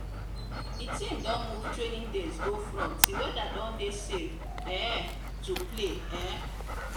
the team don move training days go front till weather don dey safe um to play um